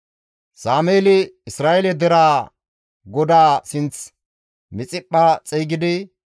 Sameeli Isra7eele deraa GODAA sinth Mixiphpha xeygidi,